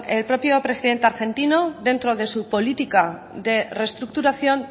el propio presidente argentino dentro de su política de reestructuración